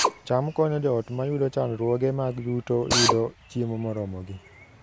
cham konyo joot mayudo chandruoge mag yuto yudo chiemo moromogi